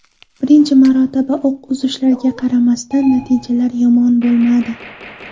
Birinchi marotaba o‘q uzishlariga qaramasdan, natijalar yomon bo‘lmadi.